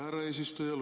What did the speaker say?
Härra eesistuja!